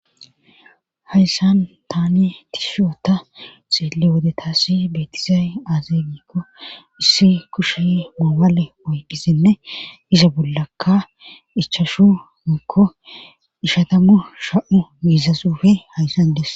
hayssan taani tishoota xeelle wodetassi beetizay aaze gikko issi kushe mawale oyqisinne isa bollakka ichashu mikko ishatammu sha7u miizasufe hayssan dese